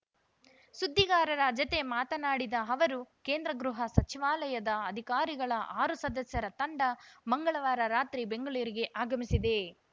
ಸುದ್ದಿಗಾರರ ಜತೆ ಮಾತನಾಡಿದ ಅವರು ಕೇಂದ್ರ ಗೃಹ ಸಚಿವಾಲಯದ ಅಧಿಕಾರಿಗಳ ಆರು ಸದಸ್ಯರ ತಂಡ ಮಂಗಳವಾರ ರಾತ್ರಿ ಬೆಂಗಳೂರಿಗೆ ಆಗಮಿಸಿದೆ